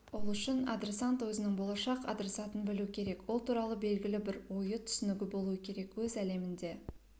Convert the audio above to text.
ол үшін адресант өзінің болашақ адресатын білу керек ол туралы белгілі бір ойы түсінігі болуы керек өз әлемінде